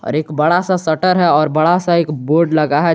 और एक बड़ा सा शटर है और बड़ा सा एक बोर्ड लगा है जी--